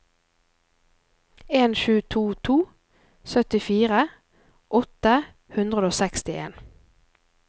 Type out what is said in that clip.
en sju to to syttifire åtte hundre og sekstien